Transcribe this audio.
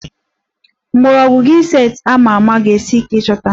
Mgbọrọgwụ Ginseng a ma ama ga-esi ike ịchọta